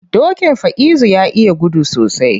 Dokin Faizu ya iya gudu sosai.